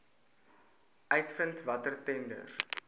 uitvind watter tenders